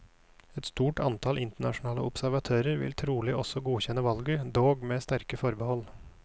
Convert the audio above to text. Et stort antall internasjonale observatører vil trolig også godkjenne valget, dog med sterke forbehold.